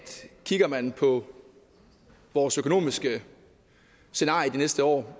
kigger man på vores økonomiske scenarie de næste år